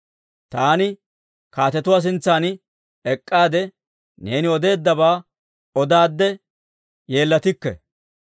Taani kaatetuwaa sintsan ek'k'aade, neeni odeeddabaa odaadde yeellatikke.